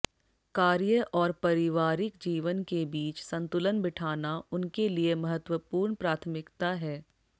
कार्य और परिवारिक जीवन के बीच संतुलन बिठाना उनके लिए महत्वपूर्ण प्राथमिकता है